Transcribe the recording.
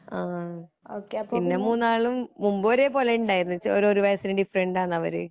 ആ പിന്നെ മൂന്നാളും മുമ്പ് ഒരേ പോലെ ഇണ്ടായിരുന്നു ചെ ഒരു വയസ്സിന് ഡിഫ്രണ്ടാണ് അവര്